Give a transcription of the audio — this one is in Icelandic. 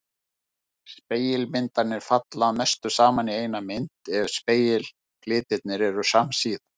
Spegilmyndirnar falla að mestu saman í eina mynd ef spegilfletirnir eru samsíða.